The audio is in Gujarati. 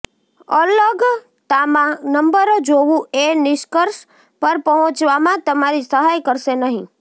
અલગતામાં નંબરો જોવું એ નિષ્કર્ષ પર પહોંચવામાં તમારી સહાય કરશે નહીં